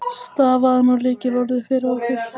Stafaðu nú lykilorðið fyrir okkur.